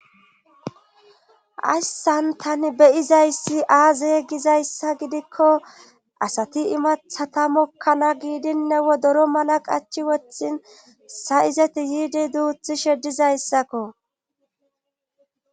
Hayssan tani beyizayssi aazey gizayssa gidikko asati imathata mokkana giidinne wodoro mala qachi wothin sa7izeti yiidi duuthi shedizayssakko.